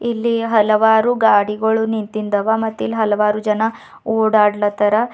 ಇಲ್ಲಿ ಹಲವಾರು ಗಾಡಿಗಳು ನಿಂತಿಂದವ ಮತ್ತೆ ಇಲ್ಲಿ ಹಲವಾರು ಜನ ಓಡಾಡ್ಲತರ.